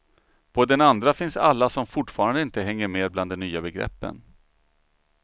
På den andra finns alla som fortfarande inte hänger med bland de nya begreppen.